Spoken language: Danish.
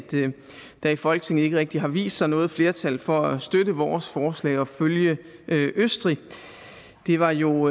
der i folketinget ikke rigtig har vist sig noget flertal for at støtte vores forslag og følge østrig det var jo